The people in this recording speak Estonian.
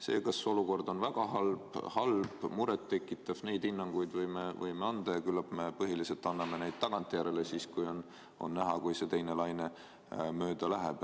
See, kas olukord on väga halb, halb või muret tekitav – neid hinnanguid võime anda ja küllap me põhiliselt anname neid tagantjärele, siis kui on näha, et see teine laine mööda läheb.